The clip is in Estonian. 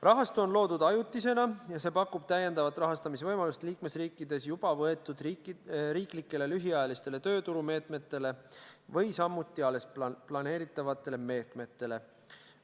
Rahastu on loodud ajutisena ja see pakub täiendavat rahastamisvõimalust liikmesriikides juba võetud riiklikele lühiajalistele tööturumeetmetele või samuti alles planeeritavatele meetmetele.